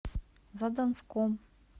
задонском